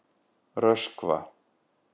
Röskva